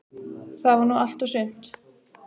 Það var nú allt og sumt.